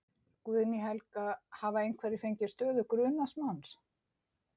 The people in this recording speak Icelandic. Guðný Helga: Hafa einhverjir fengið stöðu grunaðs manns?